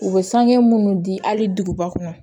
U bɛ sange minnu di hali duguba kɔnɔ